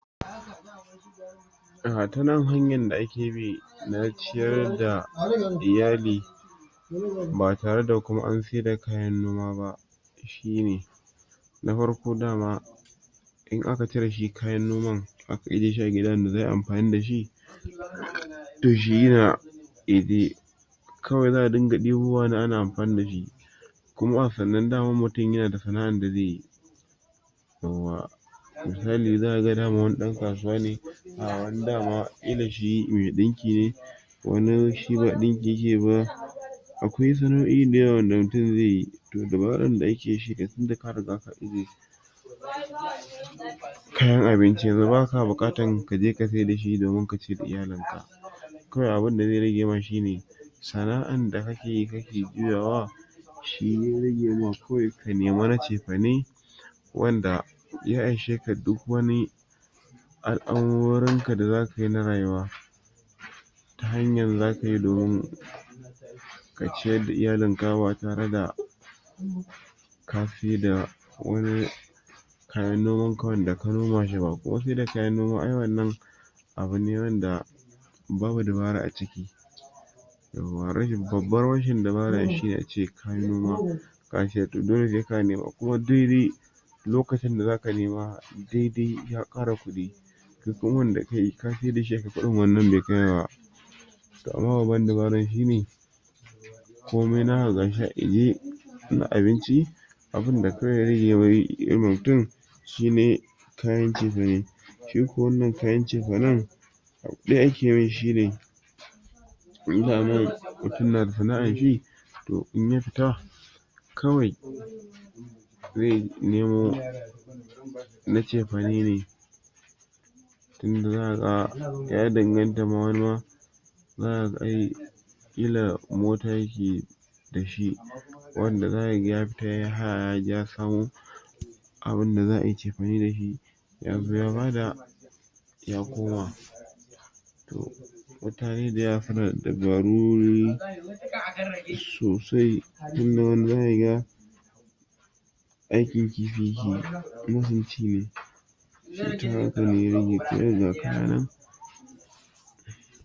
Ah ta nan hanyar da akebi na ciyar da iyali ba tare da kuma an sayar da kayan noma ba shine na farko dama in aka cire shi kayan noman aka aje shi a gida inda za'ayi amfani da shi to shi yana kebe kawai za'a dinga debowane ana amfani dashi kuma sannan daman mutum yana da sana'an da zaiyi misali daman wani zakaga dan kasuwa ne ah wani dama kila shi me dinki ne wani shi ba dinki yakeyi ba akwai sana'oi da yawa wanda mutum zaiyi to dabaran da akeyi shine tunda ka riga ka aje kayan abinci yanzu baka bukatan kaje ka saida shi domin a cida iyalin ka kawai abinda zai rage ma shine sana'an da kakeyi kake juyawa shi ya rage ma kawai ka nemi na cefane wanda ya anshe ka duk wani al'amurorin ka da zakayi na rayuwa ta hanyan zakayi domin ka ciyar da iyalin ka ba tare da ka saida wani kayan noman ka wanda ka noma shi ba kuma saida kayan noma ai wannan abune wanda babu dabara a ciki yauwa rashin babbar rashin dabara shine ace kayi noma ka sayar to dole sai ka nema kuma duk ri lokacin da zaka nema dai dai ya kara kudi shi kuma wanda kayi ka saida shi akan kudin da wannan bai kai ba to amma babban dabaran shine komai naka gashi ajiye na abinci abinda kawai ya rage ma mutum shine kayan cefane shi ko wannan kayan cefanen abu daya aje mai shine in daman mutum yana da sana'an shi to inya fita kawai zai nemo na cefane ne inda zaka ga ya danganta wanima zaka ga ai kila mota yake dashi wanda zaka ga ya fita yaje yayi haya ya samo abinda za'ai cefene dashi yazo ya bada ya koma mutane da yawa suna dabaru sosai inda wani zaka ga aikin kifi yakeyi ingin ci ne ta haka ne ya rage kawai ga kaya nan